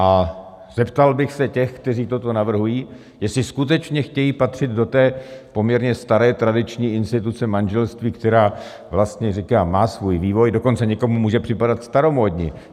A zeptal bych se těch, kteří toto navrhují, jestli skutečně chtějí patřit do té poměrně staré tradiční instituce manželství, která, vlastně říkám, má svůj vývoj, dokonce někomu může připadat staromódní.